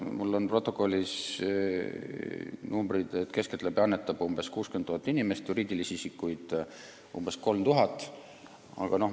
Mul on protokollis numbrid, et keskeltläbi annetab 60 000 inimest ja umbes 3000 juriidilist isikut.